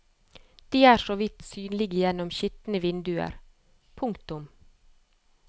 De er så vidt synlige gjennom skitne vinduer. punktum